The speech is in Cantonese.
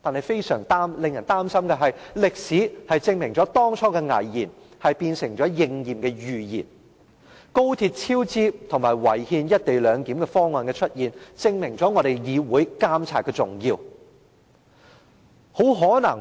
非常令人擔心的是，歷史證明了當初的危言成了今天應驗的預言，高鐵超支及違憲"一地兩檢"安排的出現，證明了議會監察何等重要。